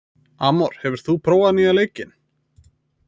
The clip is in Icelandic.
Amor, hefur þú prófað nýja leikinn?